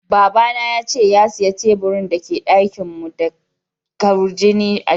Baba na yace ya siya taburin da ke dakin mu da kwarjini ashirin.